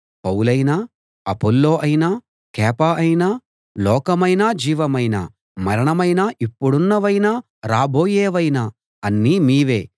పౌలైనా Apollos అయినా కేఫా అయినా లోకమైనా జీవమైనా మరణమైనా ఇప్పుడున్నవైనా రాబోయేవైనా అన్నీ మీవే